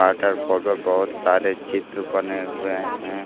बहुत सरे चित्र बने हुए हैं।